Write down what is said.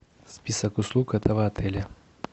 список услуг этого отеля